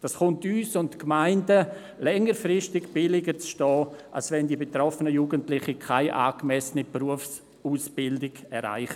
Längerfristig ist es für uns und die Gemeinden billiger, als wenn die betroffenen Jugendlichen keine angemessene Berufsbildung erreichen.